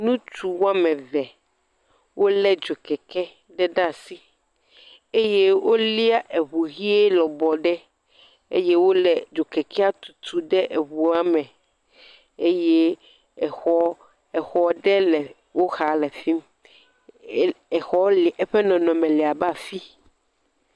nutu woameve wóle dzokeke ɖe ɖa'si eye wó lia ɛʋu hɛ lɔbɔ ɖe eye wóle edzokekɛa tutu dɛ ɛʋua mɛ eye exɔ exɔ ɖe le wó xa le fimi exɔ li eƒe nɔnɔme labe afi